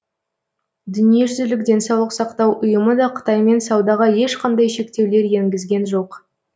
дүниежүзілік денсаулық сақтау ұйымы да қытаймен саудаға ешқандай шектеулер енгізген жоқ